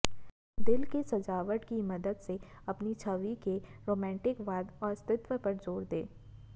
दिल की सजावट की मदद से अपनी छवि के रोमांटिकवाद और स्त्रीत्व पर जोर दें